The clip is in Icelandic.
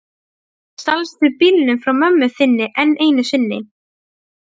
Stalstu bílnum frá mömmu þinni enn einu sinni?